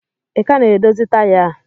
Ị ka na-edozi taya a?